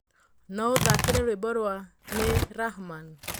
No ũthakĩre rwĩmbo rwa ni rahman